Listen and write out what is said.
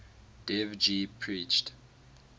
dev ji preached